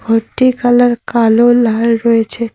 ঘরটির কালার কালো লাল রয়েছে।